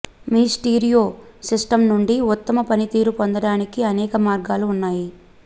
మీ stereo system నుండి ఉత్తమ పనితీరు పొందడానికి అనేక మార్గాలు ఉన్నాయి